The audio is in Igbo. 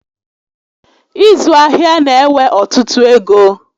Ịzụ ahịa na ewe ọtụtụ égo